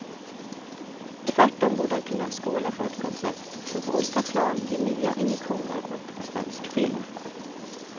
Tvärtom borde han kunna skåla för ett koncept som på olika plan ger nya injektioner åt svensk film.